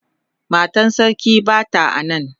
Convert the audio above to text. Matan sarki bata a nan.